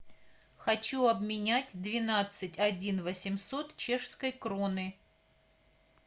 хочу обменять двенадцать один восемьсот чешской кроны